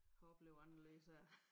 Har oplevet anderledes her